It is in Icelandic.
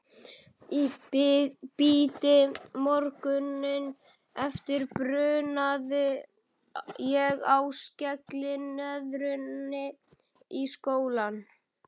Í bítið morguninn eftir brunaði ég á skellinöðrunni í skólann.